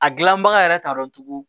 A gilanbaga yɛrɛ t'a dɔn tugun